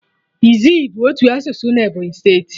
Izzi bụ otu asụsụ na Ebonyi steeti